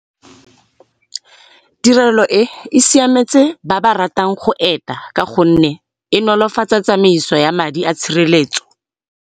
Tirelo e, e siametse ba ba ratang go eta ka gonne e nolofatsa tsameiso ya madi a tshireletso.